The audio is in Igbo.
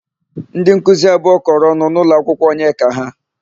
Ndịnkuzi abụọ kọrọ ọnụ n'ụlọakwụkwọ Onyeka ha.